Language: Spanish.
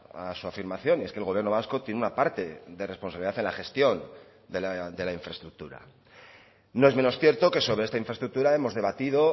a su afirmación y es que el gobierno vasco tiene una parte de responsabilidad en la gestión de la infraestructura no es menos cierto que sobre esta infraestructura hemos debatido